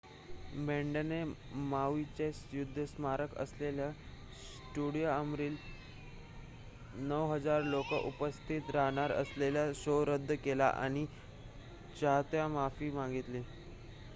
बँडने माऊइचे युद्ध स्मारक असलेल्या स्टेडिअमवरील ९,००० लोक उपस्थित राहणार असलेला शो रद्द केला आणि चाहत्यांची माफी मागितली